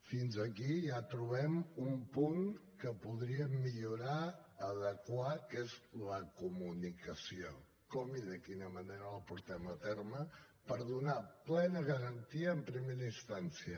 fins aquí ja trobem un punt que podríem millorar adequar que és la comunicació com i de quina manera la portem a terme per donar plena garantia en primera instància